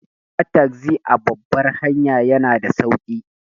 Hawa tagzi a babbar hanya yana da sauki.